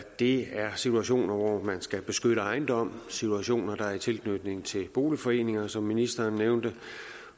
det er situationer hvor man skal beskytte ejendom situationer i tilknytning til boligforeninger som ministeren nævnte